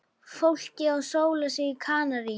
Fólkið að sóla sig á Kanarí.